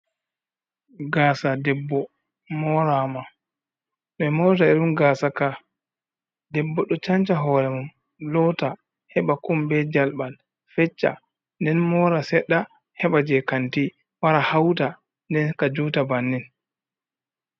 Gaasa debbo morama, ɓe morira irin gasa ka, debbo ɗo chanca hore mum, lota, heɓa kum be jalɓal, fecca nden mora seɗɗa, heɓa jei kanti wara hauta, nden ka juta bannin.